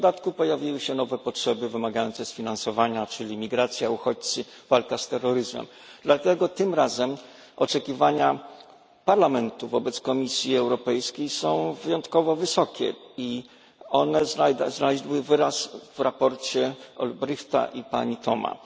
W dodatku pojawiły się nowe potrzeby wymagające sfinansowania, czyli migracja, uchodźcy, walka z terroryzmem. Dlatego tym razem oczekiwania Parlamentu wobec Komisji Europejskiej są wyjątkowo wysokie i znajdują wyraz w sprawozdaniu posłów Olbrychta i Thomas.